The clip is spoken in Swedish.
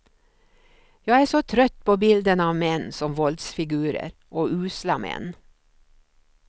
Jag är så trött på bilden av män som våldsfigurer och usla män.